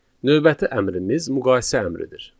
Növbəti əmrimiz müqayisə əmridir.